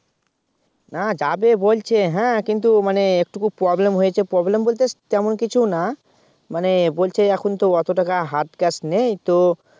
না যাবে বলছে হ্যাঁ কিন্তু মানে একটুকু Problem হয়েছে Problem বলতে তেমন কিছু না মানে বলছে যে এখন তো অত টাকা Hard Cash নেই তো